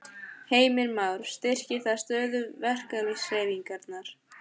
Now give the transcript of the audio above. Heimir Már: Styrkir það stöðu verkalýðshreyfingarinnar?